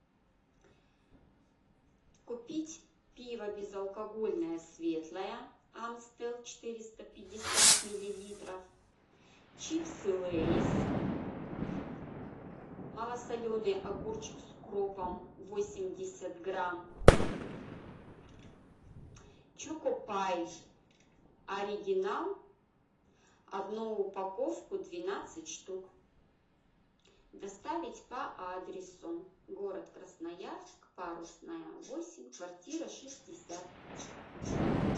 купить пиво безалкогольное светлое амстел четыреста пятьдесят миллилитров чипсы лейс малосоленый огурчик с укропом восемьдесят грамм чокопай оригинал одну упаковку двенадцать штук доставить по адресу город красноярск парусная восемь квартира шестьдесят